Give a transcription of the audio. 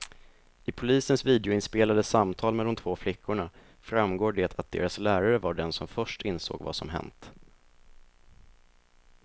I polisens videoinspelade samtal med de två flickorna framgår det att deras lärare var den som först insåg vad som hänt.